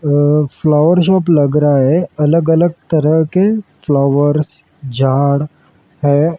अह flower shop लग रहा है अलग अलग तरह के फ्लावर्स झाड़ है।